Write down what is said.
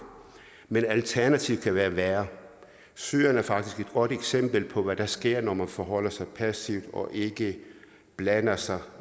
men alternativet kan være værre syrien er faktisk et godt eksempel på hvad der sker når man forholder sig passivt og ikke blander sig